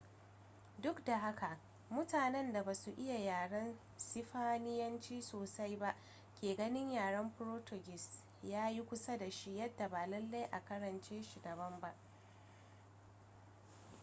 duk da haka mutanen da ba su iya yaren sifaniyanci sosai ba ke ganin yaren portuguese ya yi kusa da shi yadda ba lallai a karance shi daban ba